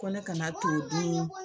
Ko kana to dun.